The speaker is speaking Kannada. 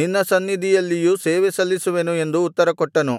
ನಿನ್ನ ಸನ್ನಿಧಿಯಲ್ಲಿಯೂ ಸೇವೆ ಸಲ್ಲಿಸುವೆನು ಎಂದು ಉತ್ತರ ಕೊಟ್ಟನು